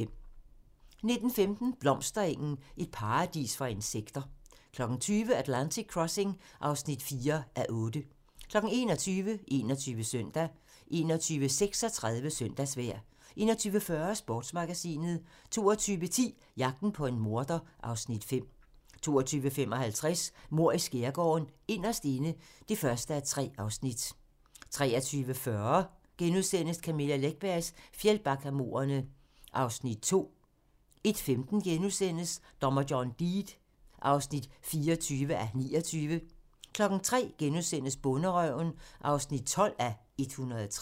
19:15: Blomsterengen - et paradis for insekter 20:00: Atlantic Crossing (4:8) 21:00: 21 Søndag 21:36: Søndagsvejr 21:40: Sportsmagasinet 22:10: Jagten på en morder (Afs. 5) 22:55: Mord i Skærgården: Inderst inde (1:3) 23:40: Camilla Läckbergs Fjällbackamordene (Afs. 2)* 01:15: Dommer John Deed (24:29)* 03:00: Bonderøven (12:103)*